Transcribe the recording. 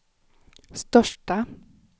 största